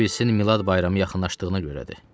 Ola bilsin Milad bayramı yaxınlaşdığına görədir.